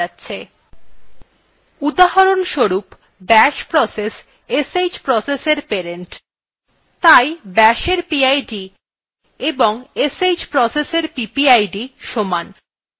উদাহরণস্বরূপbash process sh processfor parent তাই bashএর pid এবং sh processfor ppid সমান